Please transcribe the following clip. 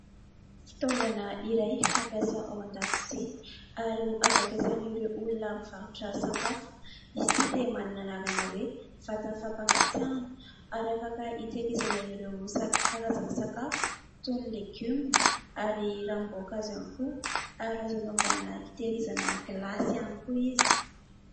Fitaovana iray fampiasa ao an-dakozia ary azo ampiasain'ireo olona mivarotra sakafo. Izy ity dia manana anarana hoe vata-fampangatsiahana ary afaka hitehirizana ireo karazana sakafo toy ny "légumes" ary ranom-boakazo ihany koa ary azo anaovana hitehirizana gilasy ihany koa izy.